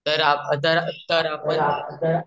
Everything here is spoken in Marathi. तर आपण तर आपण